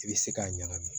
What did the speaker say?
I bɛ se k'a ɲagami